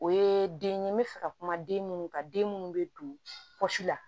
O ye den ye n bɛ fɛ ka kuma den minnu ka den minnu bɛ don si la